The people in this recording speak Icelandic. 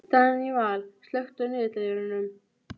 Óttinn við að upp kæmist að ég gæti ekkert.